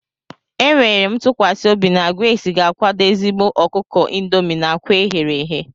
Enwere m ntụkwasị obi na Grace ga-akwado ezigbo ọkụkọ indomie na akwa eghere eghe.